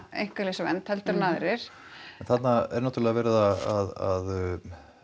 einkalífsvernd heldur en aðrir en þarna er náttúrulega verið að